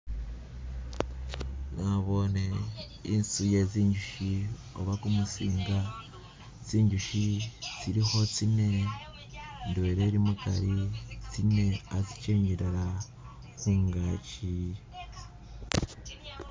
Naboone inzu ye zinzuchi oba gumusinga, zinzuch zilikho zine indwela ili mugari tsine khatsijendela khungagi